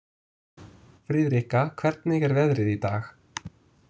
Friðrika, hvernig er veðrið í dag?